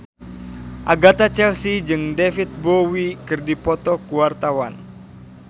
Agatha Chelsea jeung David Bowie keur dipoto ku wartawan